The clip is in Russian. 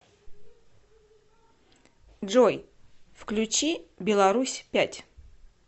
джой включи беларусь пять